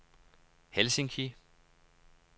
Helsinki